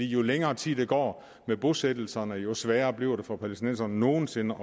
jo længere tid der går med bosættelserne jo sværere bliver det for palæstinenserne nogen sinde